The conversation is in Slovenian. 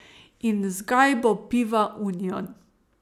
In z gajbo piva union.